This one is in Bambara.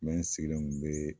Mɛ n sigilen kun bee